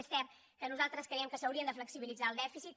és cert que nosaltres creiem que s’hauria de flexibilitzar el dèficit